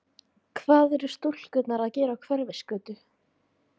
Andri: Hvað eru stúlkurnar að gera á Hverfisgötu?